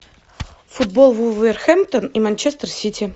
футбол вулверхэмптон и манчестер сити